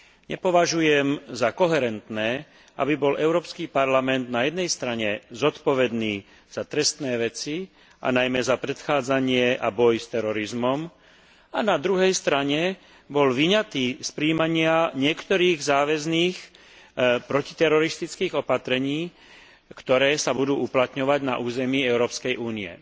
Nepovažujem za koherentné, aby bol Európsky parlament na jednej strane zodpovedný za trestné veci a najmä za predchádzanie a boj s terorizmom a na druhej strane bol vyňatý z prijímania niektorých záväzných protiteroristických opatrení, ktoré sa budú uplatňovať na území Európskej únie.